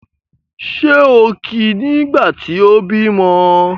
Ṣé o kí i nígbà tí o bímọ́?